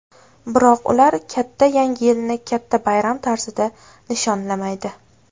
Biroq ular katta yangi yilni katta bayram tarzida nishonlamaydi.